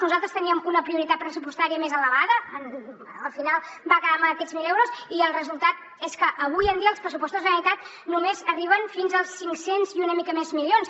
nosaltres teníem una prioritat pressupostària més elevada al final va quedar en aquests mil milions d’euros i el resultat és que avui en dia els pressupostos de la generalitat només arriben fins als cinc cents i una mica més milions